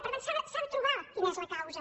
per tant s’ha de trobar quina és la causa